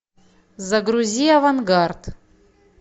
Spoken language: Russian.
загрузи авангард